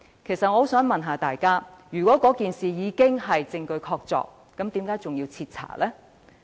我想問大家，如果事情已屬證據確鑿，為何還要徹查？